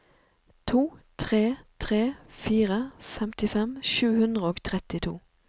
to tre tre fire femtifem sju hundre og trettito